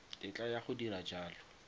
tetla ya go dira jalo